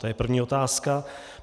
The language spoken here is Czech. To je první otázka.